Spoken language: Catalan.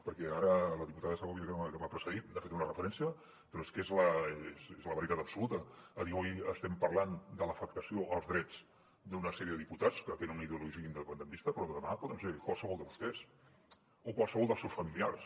perquè ara la diputada segòvia que m’ha precedit n’ha fet una referència però és que és la veritat absoluta és a dir avui estem parlant de l’afectació dels drets d’una sèrie de diputats que tenen una ideologia independentista però demà poden ser qualsevol de vostès o qualsevol dels seus familiars